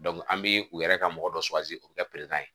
an bɛ u yɛrɛ ka mɔgɔ dɔ o bɛ kɛ